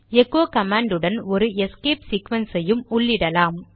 echo command உடன் ஒரு escape sequence ஐயும் உள்ளிடலாம்